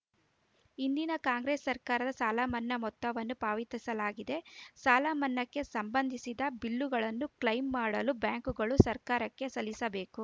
ಹಿಂದಿನ ಕಾಂಗ್ರೆಸ್‌ ಸರ್ಕಾರದ ಸಾಲಮನ್ನಾ ಮೊತ್ತವನ್ನು ಪಾವತಿಸಲಾಗಿದೆ ಸಾಲಮನ್ನಾಕ್ಕೆ ಸಂಬಂಧಿಸಿದ ಬಿಲ್ಲುಗಳನ್ನು ಕ್ಲೇಮ್‌ ಮಾಡಲು ಬ್ಯಾಂಕ್‌ಗಳು ಸರ್ಕಾರಕ್ಕೆ ಸಲ್ಲಿಸಬೇಕು